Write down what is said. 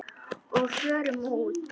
Og förum úr.